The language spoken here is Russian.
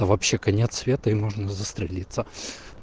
вообще конец света и можно застрелиться